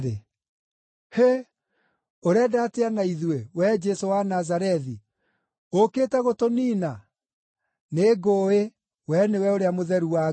“Hĩ! Ũrenda atĩa na ithuĩ, wee Jesũ wa Nazarethi? Ũũkĩte gũtũniina? Nĩngũũĩ, we nĩwe ũrĩa Mũtheru wa Ngai!”